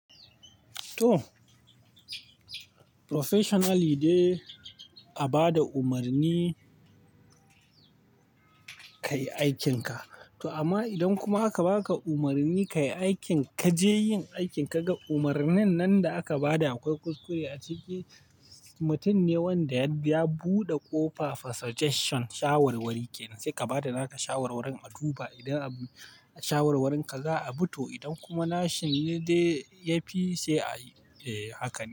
To, professionally dai a ba da umarni ka yi aikinka. To amma idan kuma aka ba ka umarni ka yi aikin ka je yin aikin ka ga umarnin nan da aka ba da akwai kuskure a ciki, mutum ne wanda ya buɗe ƙofa for suggestion, shawarwari ke nan. Sai ka ba da naka shawarwarin a duba idan shawarwarin ka za a bi to idan kuma nashin ne dai yafi sai a yi, eh haka ne.